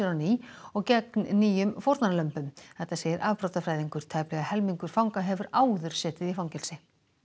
ný og gegn nýjum fórnarlömbum þetta segir afbrotafræðingur tæplega helmingur fanga hefur áður setið í fangelsi